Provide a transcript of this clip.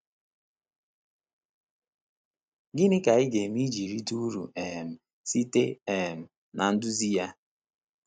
Gịnị ka anyị ga-eme iji rite uru um site um na nduzi ya?